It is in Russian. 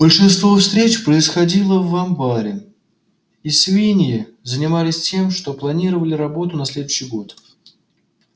большинство встреч происходило в амбаре и свиньи занимались тем что планировали работу на следующий год